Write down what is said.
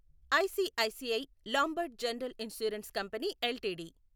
ICICI Lombard general insurance company LTD